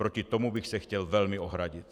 Proti tomu bych se chtěl velmi ohradit.